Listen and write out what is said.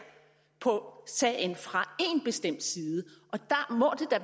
på sagen fra én bestemt side og der må